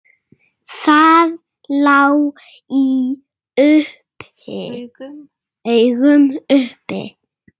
Það lá í augum uppi.